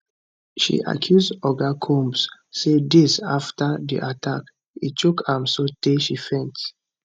she accuse oga combs say days afta di attack e choke am sotay she faint